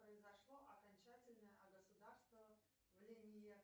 произошло окончательное огосударствовление